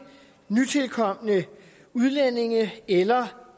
nytilkomne udlændinge eller